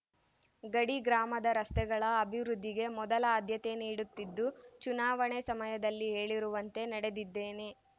ಗಡಿ ಗ್ರಾಮದ ರಸ್ತೆಗಳ ಅಭಿವೃದ್ದಿಗೆ ಮೊದಲ ಆದ್ಯತೆ ನೀಡುತ್ತಿದ್ದು ಚುನಾವಣೆ ಸಮಯದಲ್ಲಿ ಹೇಳಿರುವಂತೆ ನಡೆದಿದ್ದೇನೆ